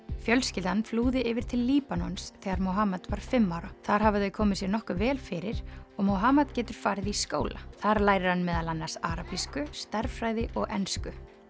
fjölskyldan flúði yfir til Líbanons þegar var fimm ára þar hafa þau komið sér nokkuð vel fyrir og getur farið í skóla þar lærir hann meðal annars arabísku stærðfræði og ensku